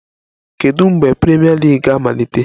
Kedu mgbe Premier League ga-amalite?